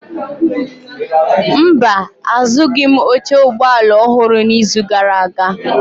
Mba, azụghịm oche ụgbọ ala ọhụrụ n'izu gara aga.